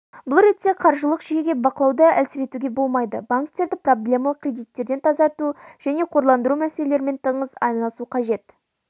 бұл ретте қаржылық жүйеге бақылауды әлсіретуге болмайды банктерді проблемалық кредиттерден тазарту және қорландыру мәселелерімен тығыз айналысу қажет